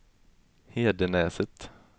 Hedenäset